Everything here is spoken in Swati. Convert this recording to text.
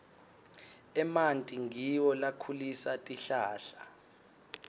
emanti ngiwo lakhulisa tihlahla